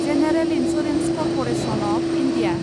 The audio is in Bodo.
general insurance corporation of India